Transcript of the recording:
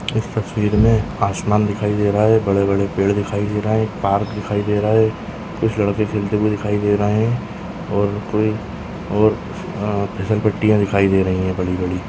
इस तस्वीर मे आसमान दिखाई दे रहा है बड़े-बड़े पेड़ दिखाई दे रहा है एक पार्क दिखाई दे रहा है कुछ लड़के खेलते हुए दिखाई दे रहे है और कोई और आ फ़िसलपट्टीया दिखाई दे रही है बड़ी-बड़ी।